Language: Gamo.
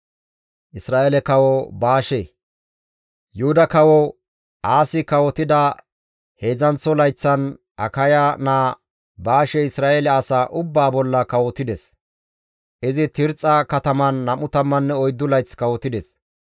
Yuhuda Kawo Aasi kawotida heedzdzanththo layththan Akaya naa Baashey Isra7eele asaa ubbaa bolla kawotides; izi Tirxxa kataman 24 layth kawotides.